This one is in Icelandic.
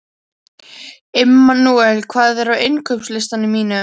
Immanúel, hvað er á innkaupalistanum mínum?